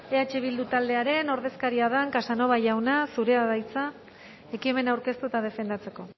eh bildu taldearen ordezkaria den casanova jauna zurea da hitza ekimena aurkeztu eta defendatzeko